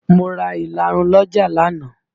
Mo ra ìlarun lọ́jà lánàá